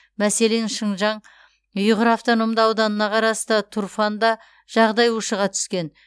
мәселен шыңжаң ұйғыр автономды ауданына қарасты турфанда жағдай ушыға түскен